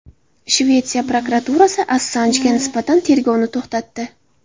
Shvetsiya prokuraturasi Assanjga nisbatan tergovni to‘xtatdi.